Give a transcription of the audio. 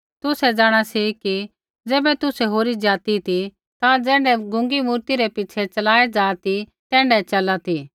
तुसै जाँणा सी कि ज़ैबै तुसै होरी ज़ाति ती ता ज़ैण्ढै गूंगी मूर्ति रै पिछ़ै चलाऐ जा ती तैण्ढै चला सी